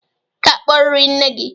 Ị ga-akpọrịrị nne gị.